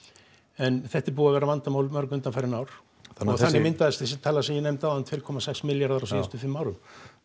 en þetta er búið að vera vandamál í mörg undanfarin ár þannig myndaðist þessi tala sem ég nefndi áðan tvö komma sex milljarðar á síðustum fimm árum